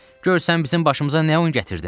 Gör sən bizim başımıza nə oyun gətirdin?